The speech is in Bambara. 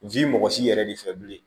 N f'i mɔgɔ si yɛrɛ de fɛ bilen